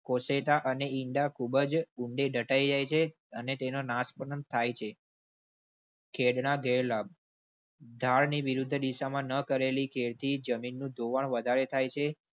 કોશેટા અને ઈંડા ખૂબ જ ઊંડે દટાયી જાય છે અને તેનો નાશ થાય છે. ખેડ ના ગેર લાબ ધારની વિરુદ્ધ દિશામાં ન ખેડતી જમીનનું ધોવાણ વધારે થાય છે